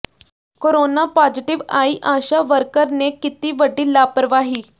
corona positive ਆਈ ASHA worker ਨੇ ਕੀਤੀ ਵੱਡੀ ਲਾਪ੍ਰਵਾਹੀ